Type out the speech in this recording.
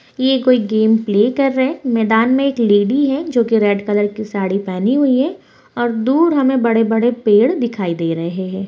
ये कोई game play कर रहे हैं मैदान में एक लेडी हैं जो कि रेड कलर की साड़ी पहनी हुई हैं और दूर हमे बड़े-बड़े पेड़ दिखाई दे रहे हैं।